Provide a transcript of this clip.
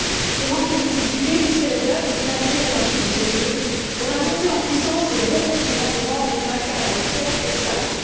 Ce manque de visibilité risque d'ailleurs de pénaliser le marché du CO 2 dont la montée en puissance et le bon fonctionnement demandent un cadre clair et stable.